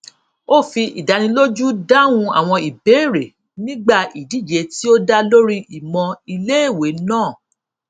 ó fi ìdánilójú dáhùn àwọn ìbéèrè nígbà ìdíje tí ó dá lórí ìmọ iléèwé náà